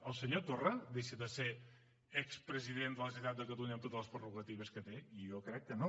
el senyor torra deixa de ser expresident de la generalitat de catalunya amb totes les prerrogatives que té jo crec que no